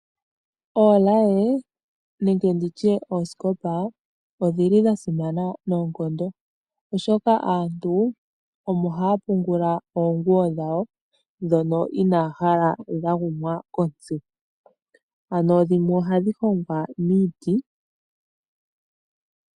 Oolaye nenge oosikopa odhili dha simana noonkondo oshoka aantu omo haya pungula oonguwo dhawo ndhono inaya hala dhagumwa kontsi ,ano dhimwe ohadhi hongwa miiti